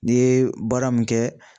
N'i ye baara min kɛ